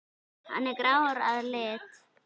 Hann er grár að lit.